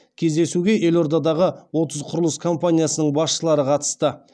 кездесуге елордадағы отыз құрылыс компаниясының басшылары қатысты